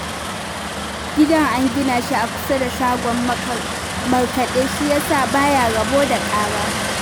Gidan an gina shi a kusa da shagon markaɗe shi ya sa ba ya rabo da ƙara